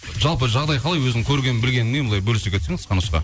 жалпы жағдай қалай өзің көрген білгеніңмен былай бөлісе кетсең қысқа нұсқа